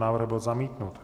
Návrh byl zamítnut.